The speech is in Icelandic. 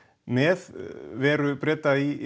með veru Breta í